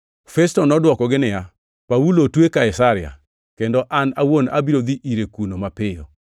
Festo nodwokogi niya, “Paulo otwe Kaisaria, kendo an awuon abiro dhi ire kuno mapiyo,